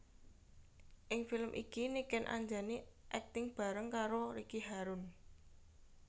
Ing film iki Niken Anjani akting bareng karo Ricky Harun